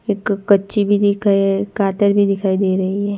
एक कच्ची भी दिखै कादर भी दिखाई दे रही है।